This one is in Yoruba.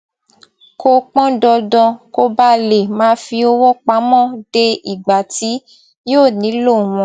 kò pọn dandan kó baà lè máa fi owó pamọ dé ìgbà tí yóò nílò wọn